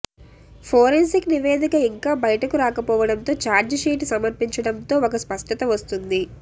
forensic నివేదిక ఇంకా బైటకు రాకపోవడంతో ఛార్జిషీట్ సమర్పించడంతో ఒక స్పష్టత వస్తుంది